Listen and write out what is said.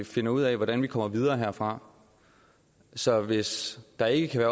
finder ud af hvordan vi kommer videre herfra så hvis der ikke kan